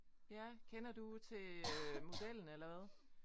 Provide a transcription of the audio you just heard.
Ja. Kender du til øh modellen eller hvad?